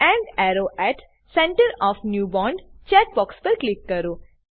and arrow at center of new bond check box પર click કરો